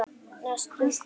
Næstum blár.